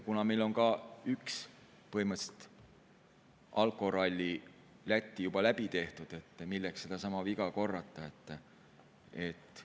Kuna meil on ka põhimõtteliselt üks alkoralli Lätti juba läbi tehtud, siis milleks sedasama viga korrata?